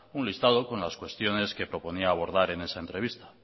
un listado con las cuestiones que proponía abordar en esa entrevista